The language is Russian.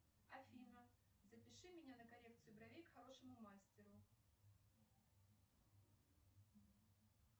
афина запиши меня на коррекцию бровей к хорошему мастеру